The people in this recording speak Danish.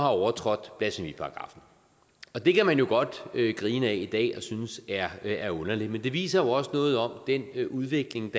overtrådt blasfemiparagraffen det kan man jo godt grine ad i dag og synes er er underligt men det viser jo også noget om den udvikling